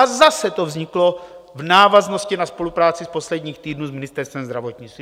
A zase to vzniklo v návaznosti na spolupráci z posledních týdnů s Ministerstvem zdravotnictví.